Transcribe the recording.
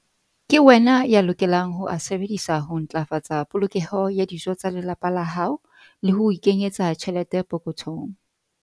Ke wena ya lokelang ho a sebedisa ho ntlafatsa polokeho ya dijo tsa lelapa la hao le ho ikenyetsa tjhelete pokothong.